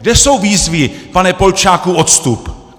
Kde jsou výzvy: pane Polčáku, odstup!